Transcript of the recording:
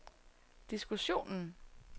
diskussionen